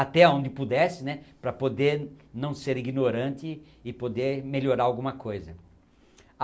até onde pudesse né para poder não ser ignorante e poder melhorar alguma coisa.